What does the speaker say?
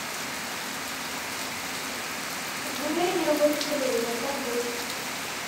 в номере не работает телевизор как быть